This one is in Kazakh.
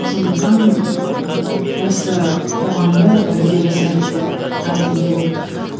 сондықтан ыыы осы қоғамды бірге жасайық деп айтқым келеді